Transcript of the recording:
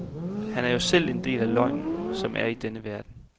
Han er jo selv en del af løgnen, som er i denne verden.